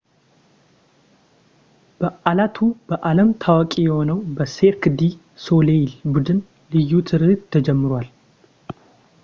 በዓላቱ በዓለም ታዋቂ በሆነው በ ሴርክ ዲ ሶሌይል ቡድን ልዩ ትርኢት ተጀምረዋል